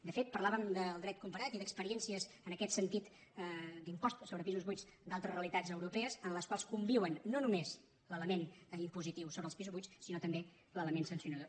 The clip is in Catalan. de fet parlàvem del dret comparat i d’ experiències en aquest sentit d’impost sobre pisos buits d’altres realitats europees en les quals conviuen no només l’element impositiu sobre els pisos buits sinó també l’element sancionador